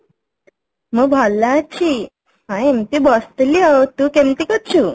ମୁଁ ଭଲ ଅଛି ହଁ ଏମିତି ବସିଥିଲି ଆଉ ତୁ କେମିତି କରୁଛୁ